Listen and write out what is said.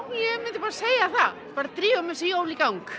ég myndi segja það drífum jólin í gang